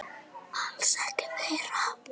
Alls ekki meira.